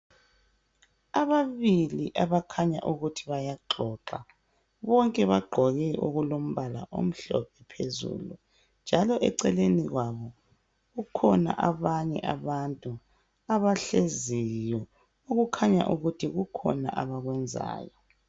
Ababili abakhanya ukuthi bayaxoxa bonke bagqoke okulombala omhlophe phezulu njalo kukhona abanye abantu abahleziyo okukhanya ukuthi kukhona abakwenzayo.